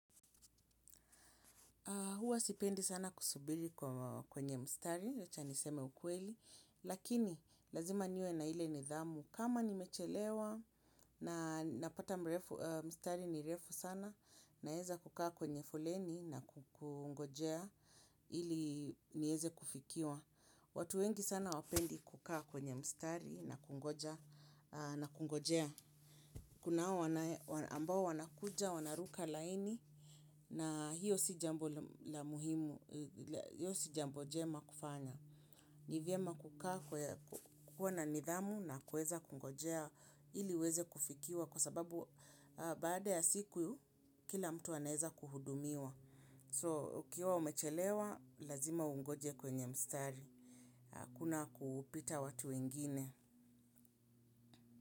Huwa sipendi sana kusubiri kwenye mstari, wacha niseme ukweli, lakini lazima niwe na ile nidhamu. Kama nimechelewa na napata mstari ni refu sana, naweza kukaa kwenye foleni na kungojea ili niweze kufikiwa. Watu wengi sana hawapendi kukaa kwenye mstari na kungojea. Kuna hao ambao wanakuja wanaruka laini na hiyo si jambo la muhimu, hiyo si jambo njema kufanya. Ni vyema kukuwa na nidhamu na kuweza kungojea ili uweze kufikiwa kwa sababu baada ya siku kila mtu anaweza kuhudumiwa. So, ukiwa umechelewa, lazima ungoje kwenye mstari. Hakuna kupita watu wengine.